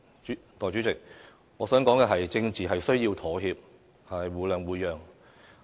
代理主席，我想說，政治是需要妥協、互諒互讓的。